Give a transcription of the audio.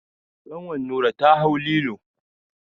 Kanwar Nura ta hau lilo.